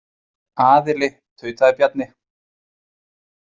Aðili, tautaði Bjarni.